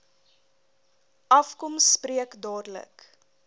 afkom spreek dadelik